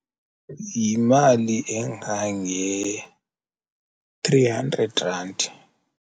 Yimali engange-three hundred rand.